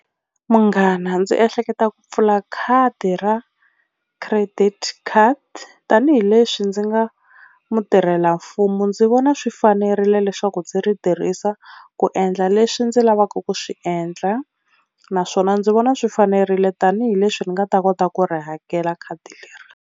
Munghana ndzi ehleketa ku pfula khadi ra credit card tanihileswi ndzi nga mutirhelamfumo ndzi vona swi fanerile leswaku ndzi ri tirhisa ku endla leswi ndzi lavaka ku swi endla, naswona ndzi vona swi fanerile tanihileswi ni nga ta kota ku ri hakela khadi leri.